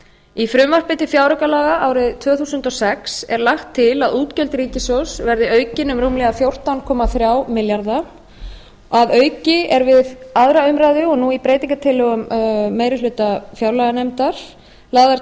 í frumvarpi til fjáraukalaga fyrir árið tvö þúsund og sex er lagt til að útgjöld ríkissjóðs verði aukin um rúmlega fjórtán komma þrjá milljarða króna að auki er við aðra umræðu og nú í breytingartillögum meiri hluta fjárlaganefndar lögð